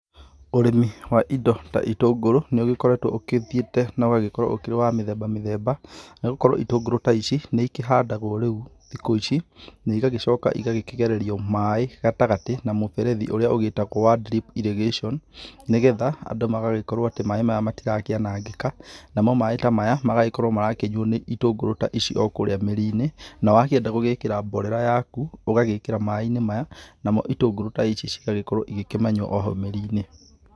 Ũrĩmi wa indo ta itũngũrũ nĩ ũgĩkoretwo ũkĩthiĩte na ũgagĩkorwo ũkĩrĩ wa mĩthemba mĩthemba nĩ gũkorwo itũngũrũ ta ici nĩ ĩkĩhandagwo rĩu thikũ ici na igagĩcoka ũgakĩgererio maĩ gatagatĩ na mũberethi ũrĩa ũgĩtagwo wa Drip irrigation, nĩgetha andũ magagĩkorwo atĩ maĩ mau matiranangĩka namo maĩ ta maya magagĩkorwo marakĩnyuo nĩ itũngũrũ ta ici o kũrĩa mĩri-inĩ, na wakĩenda gũgĩkĩra mborera yaku, ũgagĩkĩra maĩ-inĩ maya, namo itũngũrũ ta ici cigagĩkorwo ĩgĩkĩmanyua o hau mĩrĩ-inĩ.